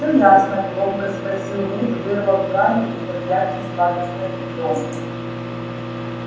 всё ясно громко спросил вуд вырвав гарри из объятий сладостной дрёмы